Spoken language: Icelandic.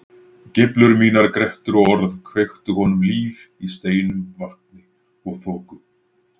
Geiflur mínar, grettur og orð kveiktu honum líf í steinum, vatni og þoku.